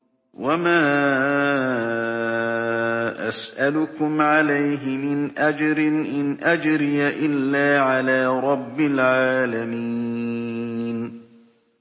وَمَا أَسْأَلُكُمْ عَلَيْهِ مِنْ أَجْرٍ ۖ إِنْ أَجْرِيَ إِلَّا عَلَىٰ رَبِّ الْعَالَمِينَ